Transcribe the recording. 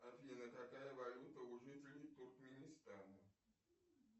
афина какая валюта у жителей туркменистана